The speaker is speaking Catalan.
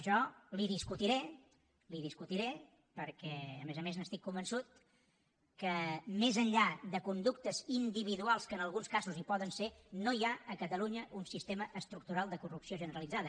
jo li discutiré li ho discutiré perquè a més a més n’estic convençut que més enllà de conductes individuals que en alguns casos hi poden ser no hi ha a catalunya un sistema estructural de corrupció generalitzada